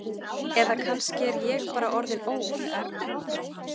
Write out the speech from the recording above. Eða kannski er ég bara orðin óð.